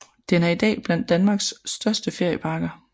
Den er i dag blandt Danmarks største ferieparker